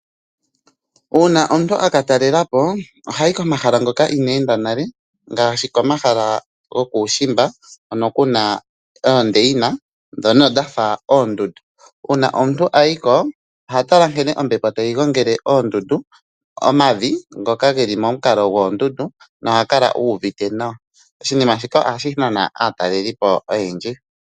Uuna omuntu aka talela po oha yi komahala ngono inaa ya enda nale, ngaashi uushimba hono ku na oondeina ndhoka dhafa oondundu. Uuna omuntu a yi ko oha tala nkene ombepo tayi gongele omavi ngoka geli momukalo gwoondundu, noha kala uuvite nawa. Oshinima shika ohashi nana aataleli po oyendji.